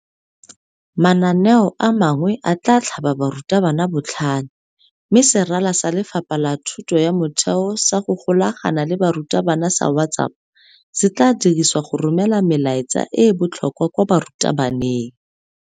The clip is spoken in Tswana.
Mananeo a mangwe a tla tlhaba barutabana botlhale mme serala sa Lefapha la Thuto ya Motheo sa go Golagana le Barutabana sa WhatsApp se tla dirisiwa go romela melaetsa e e botlhokwa kwa barutabaneng.